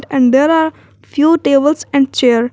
And there are few tables and chair.